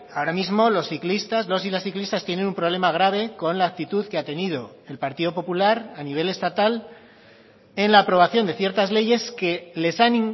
ahora mismo los ciclistas los y las ciclistas tienen un problema grave con la actitud que ha tenido el partido popular a nivel estatal en la aprobación de ciertas leyes que les han